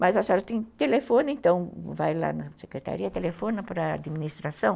Mas a senhora tem telefone, então vai lá na secretaria, telefona para a administração.